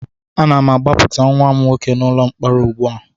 Ana m agbapụta nwa m nwoke n'ụlọ mkpọrọ ugbu a